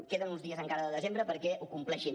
queden uns dies encara de desembre perquè ho compleixin